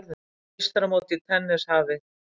Meistaramótið í tennis hafið